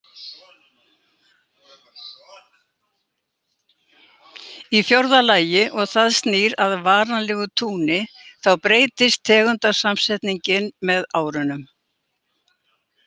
Í fjórða lagi og það snýr að varanlegu túni, þá breytist tegundasamsetningin með árunum.